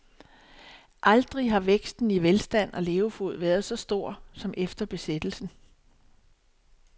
Aldrig har væksten i velstand og levefod været så stor, som efter besættelsen.